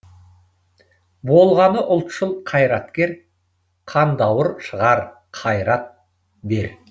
болғаны ұлтшыл қайраткер қандауыр шығар қайрат бер